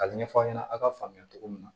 Ka ɲɛfɔ aw ɲɛna aw ka faamuya cogo min na